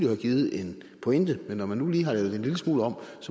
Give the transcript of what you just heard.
have givet en pointe men når man nu lige har lavet det en lille smule om